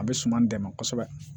A bɛ suman dɛmɛ kosɛbɛ